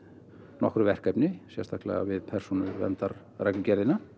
nokkru verkefni sérstaklega við persónuverndarreglugerðina